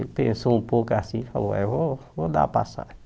Ele pensou um pouco assim e falou, é, vou vou dar a passagem.